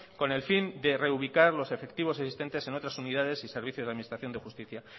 con el fin de reubicar los efectivos existentes en otras unidades y servicio de administración de justicia